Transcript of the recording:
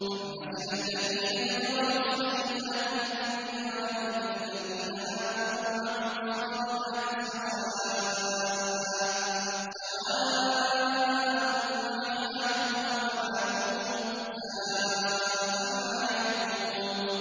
أَمْ حَسِبَ الَّذِينَ اجْتَرَحُوا السَّيِّئَاتِ أَن نَّجْعَلَهُمْ كَالَّذِينَ آمَنُوا وَعَمِلُوا الصَّالِحَاتِ سَوَاءً مَّحْيَاهُمْ وَمَمَاتُهُمْ ۚ سَاءَ مَا يَحْكُمُونَ